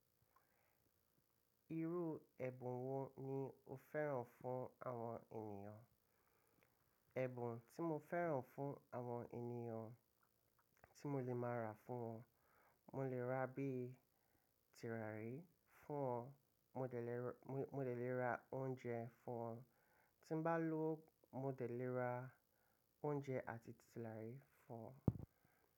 Irú ẹ̀bùn wo ni o fẹ́ràn fún àwọn ènìyàn? Ẹ̀bùn tí mo fẹ́ràn fún àwọn ènìyàn tí mo lè máa rà fún wọn, mo lè rà bí i turárí fún wọn, mo dè lè ra oúnjẹ fún wọn, tí n bá lówó mo dè lè ra oúnjẹ àti turárí fún wọn.